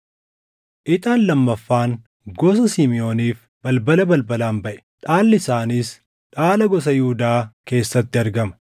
Ixaan lammaffaan gosa Simiʼooniif balbala balbalaan baʼe. Dhaalli isaaniis dhaala gosa Yihuudaa keessatti argama.